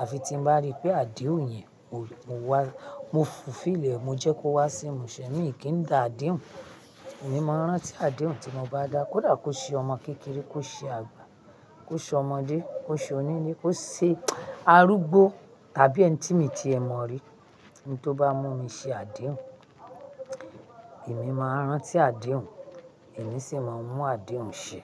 àfi tí n bá ríi pé àdéhùn yẹn mo mo wá, mo fulfill ẹ̀, mo jẹ́ kó wá sí ìmúṣẹ. Miì kí ń da àdéhùn, èmi máa rántí àdéhùn tí mo bá dá, kódà kó ṣe ọmọ kékeré, kó ṣe àgbà, kó ṣe ọmọdé, kó ṣe onílé, kó ṣe arúgbó tàbí ẹni tí miì tiẹ̀ mọ̀ rí, n tó bá mú mi ṣe àdéhùn, èmi máa ń rántí àdéhùn, èmi sì máa ń mú àdéhùn ṣẹ.